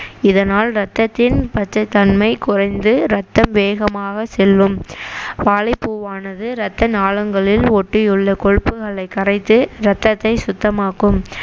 இதனால் ரத்தத்தின் பச்சைத்தன்மை குறைந்து ரத்தம் வேகமாக செல்லும் வாழைப்பூவானது ரத்த நாளங்களில் ஒட்டியுள்ள கொழுப்புகளை கரைத்து ரத்தத்தை சுத்தமாக்கும்